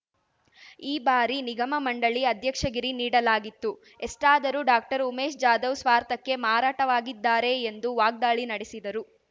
ಈ ಬಾರಿ ನಿಗಮ ಮಂಡಳಿ ಅಧ್ಯಕ್ಷಗಿರಿ ನೀಡಲಾಗಿತ್ತು ಎಷ್ಟಾದರೂ ಡಾಕ್ಟರ್ ಉಮೇಶ್ ಜಾಧವ್ ಸ್ವಾರ್ಥಕ್ಕೆ ಮಾರಾಟವಾಗಿದ್ದಾರೆ ಎಂದು ವಾಗ್ದಾಳಿ ನಡೆಸಿದರು